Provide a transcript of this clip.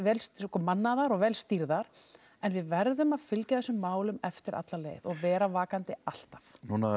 mannaðar og vel stýrðar en við verðum að fylgja þessum málum eftir alla leið og vera vakandi alltaf